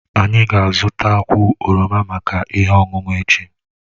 Anyị ga-azụta kwụ oroma maka ihe ọṅụṅụ echi